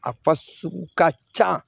A fa sugu ka ca